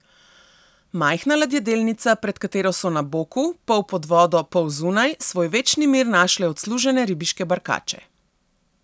Majhna ladjedelnica, pred katero so na boku, pol pod vodo pol zunaj, svoj večni mir našle odslužene ribiške barkače.